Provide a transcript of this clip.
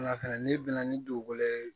n'i bɛnna ni dugukolo ye